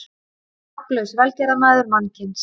Nafnlaus velgerðarmaður mannkyns.